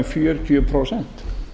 fjörutíu prósent